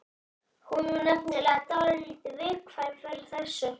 Hún var nefnilega dálítið viðkvæm fyrir þessu.